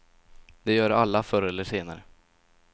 Det gör alla, förr eller senare.